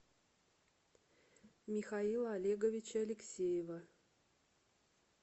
михаила олеговича алексеева